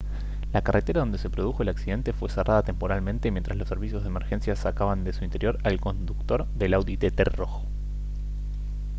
la carretera donde se produjo el accidente fue cerrada temporalmente mientras los servicios de emergencia sacaban de su interior al conductor del audi tt rojo